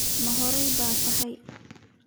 Ma hore baad tahay?